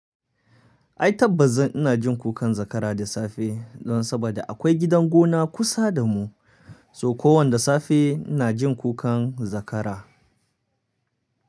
Ai tabbas zan ina jin kukan zakara da safe don saboda akwai gidan gona kusa da mu, so kowan da safe ina jin kukan zakara.